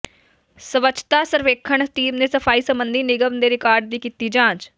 ਸਵੱਛਤਾ ਸਰਵੇਖਣ ਟੀਮ ਨੇ ਸਫ਼ਾਈ ਸਬੰਧੀ ਨਿਗਮ ਦੇ ਰਿਕਾਰਡ ਦੀ ਕੀਤੀ ਜਾਂਚ